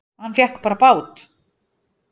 Hann fékk bara bát!